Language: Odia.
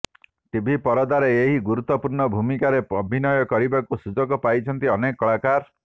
ଟିଭି ପରଦାରେ ଏହି ଗୁରୁତ୍ୱପୂର୍ଣ୍ଣ ଭୂମିକାରେ ଅଭିନୟ କରିବାକୁ ସୁଯୋଗ ପାଇଛନ୍ତି ଅନେକ କଳାକାର